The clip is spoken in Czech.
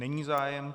Není zájem.